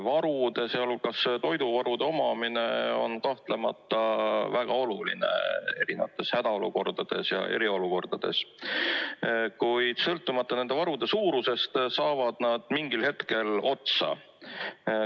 Varude, sh toiduvarude omamine on kahtlemata väga oluline erinevates hädaolukordades ja eriolukordades, kuid sõltumata nende varude suurusest, saavad nad mingil hetkel otsa.